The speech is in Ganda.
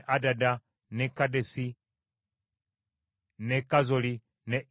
n’e Kedesi, n’e Kazoli, n’e Isunani,